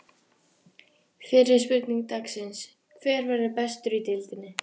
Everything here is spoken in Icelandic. Fyrri spurning dagsins: Hver verður bestur í deildinni?